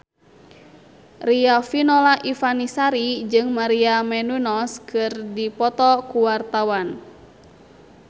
Riafinola Ifani Sari jeung Maria Menounos keur dipoto ku wartawan